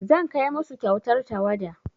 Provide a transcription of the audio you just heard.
Zan kai musu kyautar tawada.